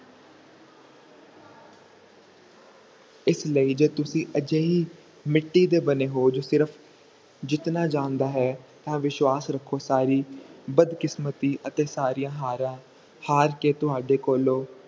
ਇਸ ਲਈ ਜੇ ਤੁਸੀਂ ਅਜੇਹੀ ਮਿੱਟੀ ਦੇ ਬਣੇ ਹੋ ਜੋ ਸਿਰਫ ਜਿੱਤਣਾ ਜਾਂਦਾ ਹੈ ਤਾ ਵਿਸ਼ਵਾਸ ਰੱਖੋ ਸਾਰੀ ਬਦਕਿਸਮਤੀ ਅਤੇ ਸਾਰੀਆਂ ਹਾਰਾਂ ਹਰ ਕੇ ਤੁਹਾਡੇ ਕੋਲੋਂ